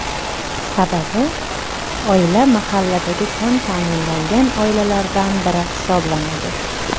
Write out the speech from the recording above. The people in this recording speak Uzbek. Sababi, oila mahalladagi kam ta’minlangan oilalardan biri hisoblanadi.